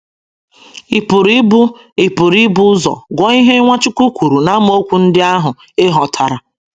Ị pụrụ ibu Ị pụrụ ibu ụzọ gụọ ihe Nwachukwu kwuru n’amaokwu ndị ahụ e hotara.